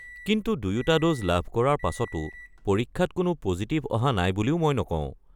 কিন্তু দুয়োটা ড'জ লাভ কৰাৰ পাছতো পৰীক্ষাত কোনো পজিটিভ অহা নাই বুলিও মই নকওঁ।